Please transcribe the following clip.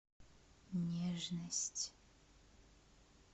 нежность